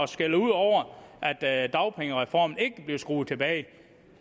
skælder ud over at at dagpengereformen ikke blev skruet tilbage